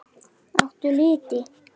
Áttu liti?